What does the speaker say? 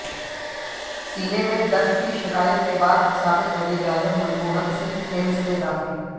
سینے میں درد کی شکایت کے بعد سابق وزیر اعظم منموہن سنگھ ایمس میں داخل